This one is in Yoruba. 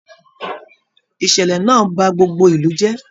Ìṣẹlẹ náà bá gbogbo ìlú jẹ.